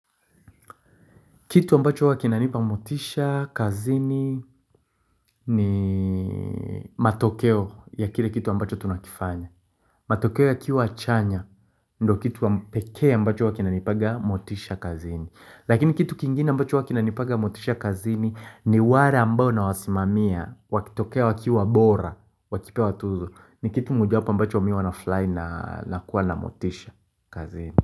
Kitu ambacho huwa kinanipa motisha kazini ni matokeo ya kile kitu ambacho tunakifanya matokeo ya kiwa chanya ndo kitu pekea ambacho wa kinanipaga motisha kazini Lakini kitu kingine ambacho wa kinanipaga motisha kazini ni ware ambao na wasimamia Wakitokea wakiwa bora, wakipewa tuzo ni kitu mojapo mbacho miwa na furahi na kuwa na motisha kazini.